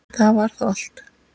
Það var þá allt.